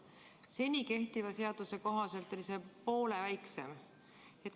Seni kehtiva seaduse kohaselt oli see poole väiksem.